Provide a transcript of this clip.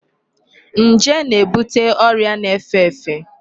Njé na-ebute ọrịa na-efe efe.